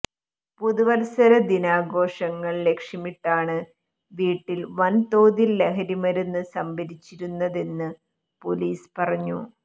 പുതുവത്സര ദിനാഘോഷങ്ങൾ ലക്ഷ്യമിട്ടാണ് വീട്ടിൽ വൻതോതിൽ ലഹരിമരുന്ന് സംഭരിച്ചിരുന്നതെന്ന് പൊലീസ് പറഞ്ഞു